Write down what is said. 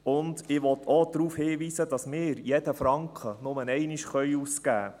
Zudem will ich auch darauf hinweisen, dass wir jeden Franken nur einmal ausgeben können.